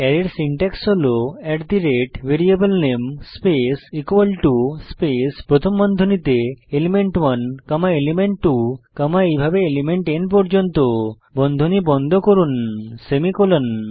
অ্যারের সিনট্যাক্স হল at the rate ভ্যারিয়েবলনামে স্পেস ইকুয়াল টো স্পেস প্রথম বন্ধনীতে এলিমেন্ট 1 কমা এলিমেন্ট 2 কমা এইভাবে এলিমেন্ট N বন্ধনী বন্ধ করুন সেমিকোলন